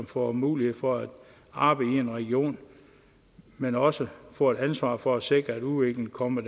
får mulighed for at arbejde i en region men også får et ansvar for at sikre at udviklingen kommer